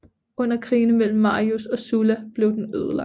Under krigene mellem Marius og Sulla blev den ødelagt